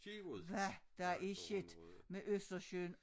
Hvad der er sket med Østersøen